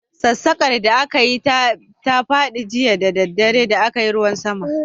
Sassaƙar da aka yi ta fadi jiya da daddare da a kayi ruwan sama.